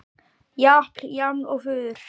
Japl-jaml-og-fuður tóku við þar sem frá var horfið.